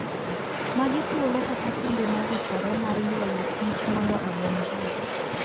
Magi thuolo kata kuonde mowichore mar ywayo kich mondo odonjie